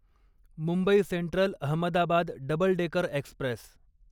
Mumbai central Ahmedabad double decker Express